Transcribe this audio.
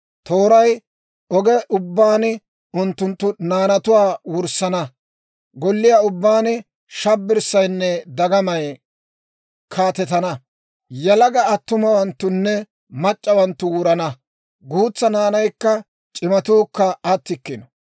Tooray oge ubbaan unttunttu naanatuwaa wurssana. Golliyaa ubbaan shabbirssaynne dagamay kaatetana. Yalaga attumawanttunne mac'c'awanttu wurana; guutsaa naanaykka c'imatuukka attikkino.